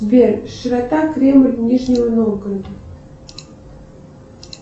сбер широта кремль нижнего новгорода